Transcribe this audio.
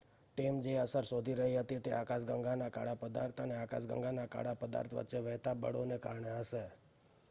team જે અસર શોધી રહી હતી તે આકાશગંગાના કાળા પદાર્થ અને આકાશગંગાના કાળા પદાર્થ વચ્ચે વહેતા બળોને કારણે હશે